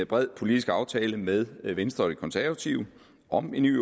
bred politisk aftale med venstre og de konservative om en ny